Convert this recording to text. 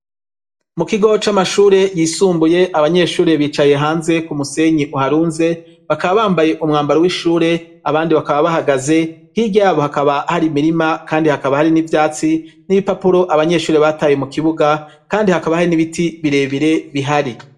Mukigo c'amashure yisumbuye abanyeshure bicaye hanze k'umusenyi uharunze bakaba bambaye umwambaro w'ishuri abandi bakaba bahagaze hirya yabo hakaba har'imirima kandi hakaba hari n'ivyatsi n'ibipapuro abanyeshure bataye mukibuga kandi hakaba hari n'ibiti birebire bihari.